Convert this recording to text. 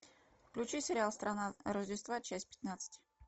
включи сериал страна рождества часть пятнадцать